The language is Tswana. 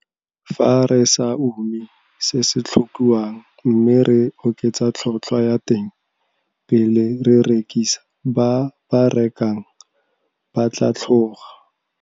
Fa re sa ume se se tlhokiwang mme re oketsa tlhotlhwa ya teng pele re rekisa ba ba rekang ba tla tlhoga.